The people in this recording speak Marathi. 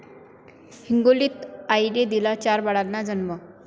हिंगोलीत आईने दिला चार बाळांना जन्म